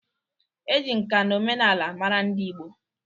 E ji nkà na omenala mara ndị Ịgbo